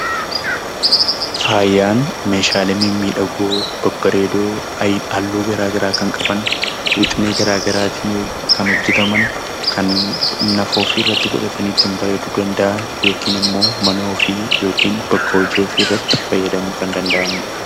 Faayyaan meeshaalee mimmiidhagoo, babbareedoo halluu garaa garaa kan qaban wixinee garaa garaatiin kan hojjetaman, kan nafa ofiirratti godhatanii ittiin bareeduu danda'an yokin immoo mana ofii yokin bakka hojii ofiirratti fayyadamuu kan danda'aniidha.